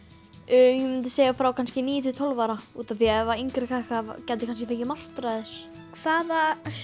ég myndi segja frá kannski svona níu til tólf ára útaf því að yngri krakkar gætu kannski fengið martraðir hvaða